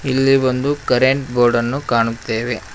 ಇಲ್ಲಿ ಒಂದು current board ಅನ್ನು ಕಾಣುತ್ತೇವೆ.